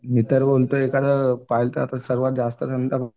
मी तर बोलतो एखादं तर सर्वात जास्तजण तर